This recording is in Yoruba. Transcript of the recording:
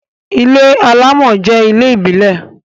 ilé alamò jẹ ilé ìbílè